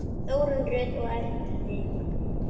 Þórunn Rut og Erling.